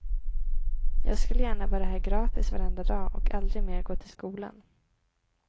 Jag skulle gärna vara här gratis varenda dag och aldrig mer gå till skolan.